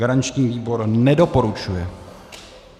Garanční výbor nedoporučuje.